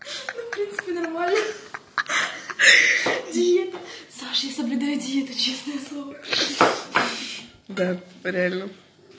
ну в принципе нормально ха-ха саша я соблюдаю диету честное слово да реально